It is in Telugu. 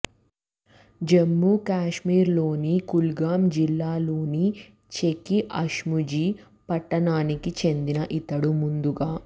జమ్మూ కశ్మీర్లోని కుల్గామ్ జిల్లాలోని చెకి అష్ముజీ పట్టణానికి చెందిన ఇతడు ముందుగా